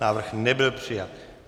Návrh nebyl přijat.